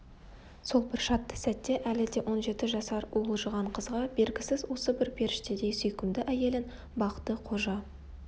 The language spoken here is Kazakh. сол бір шатты сәтте әлі де он жеті жасар уылжыған қызға бергісіз осы бір періштедей сүйкімді әйелін бақты-қожа